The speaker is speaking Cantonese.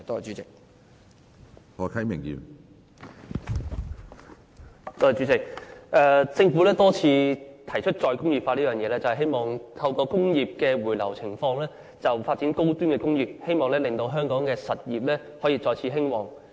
主席，政府多次提出再工業化，希望透過工業回流來發展高端工業，令香港的實業可以再次興旺。